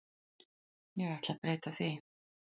Ég ætla breyta því.